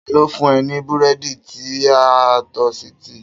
Ta ló fún ẹ ní Búrẹ́dì ti a tosítì?